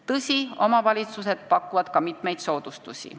Tõsi, omavalitsused pakuvad ka mitmeid soodustusi.